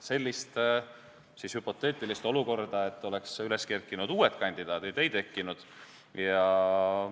Sellist hüpoteetilist olukorda, et oleks üles kerkinud uued kandidaadid, ei tekkinud.